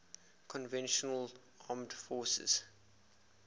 conventional armed forces